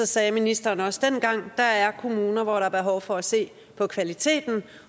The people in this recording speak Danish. se at ministeren også dengang sagde at der er kommuner hvor der er behov for at se på kvaliteten